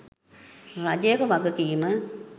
රජයක වගකීම